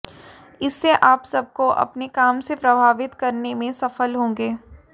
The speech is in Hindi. इससे आप सबको अपने काम से प्रभावित करने में सफल होंगे